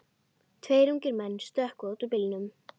Tveir ungir menn stökkva út úr bílnum.